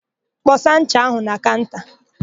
Kpọsa ncha áhụ̀ na kaụnta!